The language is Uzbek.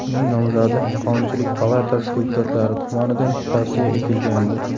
Uning nomzodi Qonunchilik palatasi deputatlari tomonidan tavsiya etilgandi .